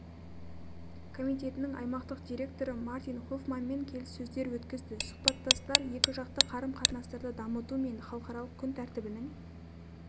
комитетінің аймақтық директоры мартин хофманмен келіссөздер өткізді сұхбаттастар екіжақты қарым-қатынастарды дамыту мен халықаралық күн тәртібінің